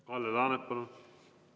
Kalle Laanet, palun!